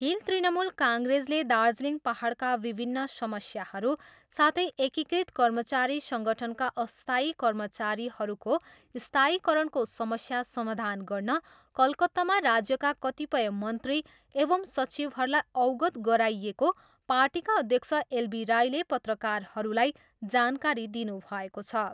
Hill Trinamool काङ्ग्रेसले दार्जिलिङ पाहाडका विभिन्न समस्याहरू साथै एकीकृत कर्मचारी सङ्गठनका अस्थायी कर्मचारीहरूको स्थायीकरणको समस्या समाधान गर्न कलकत्तामा राज्यका कतिपय मन्त्री एवम् सचिवहरूलाई अवगत गराइएको पार्टीका अध्यक्ष एल बी राईले पत्रकारहरूलाई जानकारी दिनुभएको छ।